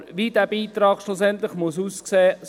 Aber wie dieser Beitrag schlussendlich aussehen muss ...